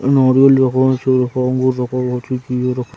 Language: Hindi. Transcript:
नारियल दुकान हो चुकी है --